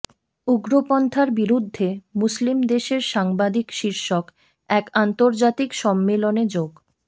উগ্রপন্থার বিরুদ্ধে মুসলিম দেশের সাংবাদিক শীর্ষক এক আন্তর্জাতিক সম্মেলনে যোগ